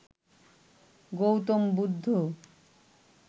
Gautam Buddha